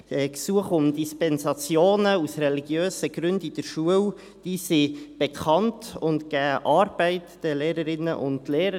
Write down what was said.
Gesuche um Dispensationen aus religiösen Gründen in der Schule sind bekannt und geben den Lehrpersonen Arbeit.